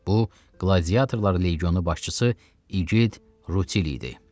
Bu, qladiatorlar leqionu başçısı igid Rutill idi.